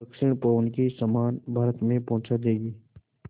दक्षिण पवन के समान भारत में पहुँचा देंगी